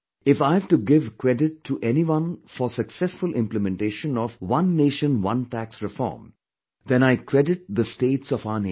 If I've to give credit to anyone for successful implementation of 'One Nation One Tax reform', then I credit the states of our nation